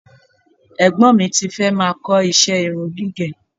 Ẹ̀gbọ́n mi ti fẹ́ máa kọ iṣẹ́ irun gígẹ̀